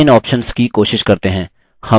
चलिए इन options की कोशिश करते हैं